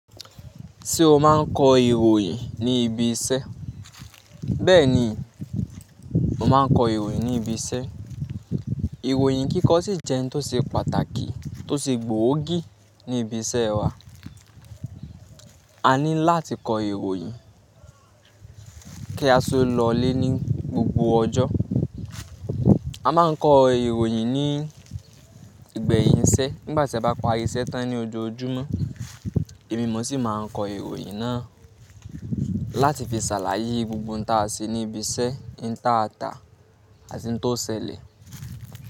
Tí o máa n kọ ìròyìn ní ibi iṣẹ́? Bẹ́ẹ̀ ni mo máa ń kọ ìròyìn ní ibi iṣẹ́. Ìròyìn kíkọ ṣì jẹ́ ohun tó ṣe pàtàkì, tó ṣe gbòógì ní ibi iṣẹ́ wa. A ní láti kọ ìròyìn kí a si tó lọlé ní gbogbo ọjọ́. A máa ń kọ ìròyìn ní ìgbẹ̀yìn iṣẹ́ nígbà tí a bá parí iṣẹ́ tán ní ojoojúmọ́. Ẹ̀mi mo sì máa ń kọ ìròyìn náà láti fi ṣàlàyé gbogbo ohun tí a ṣe ní ibi iṣẹ́, hin taata àti ohun tó ṣẹlẹ̀.